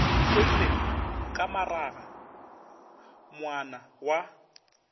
tlodile ka maraga moana wa